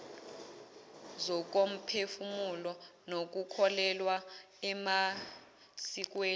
zokomphefumulo nokukholelwa emasikweni